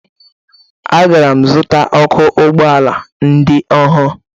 Agara m zụta ọkụ ụgbọala ndị ọhụrụ